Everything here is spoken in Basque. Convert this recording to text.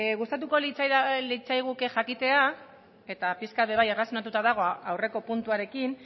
gustatuko litzaiguke jakitea eta pixka bat bai erlazionatuta dago aurreko puntuarekin